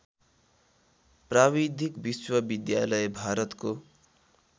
प्राविधिक विश्वविद्यालय भारतको